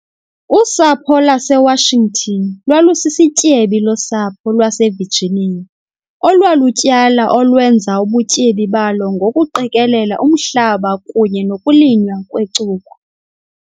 Usapho lwaseWashington lwalusisityebi losapho lwaseVirginia olwalutyala olwenza ubutyebi balo ngokuqikelela umhlaba kunye nokulinywa kwecuba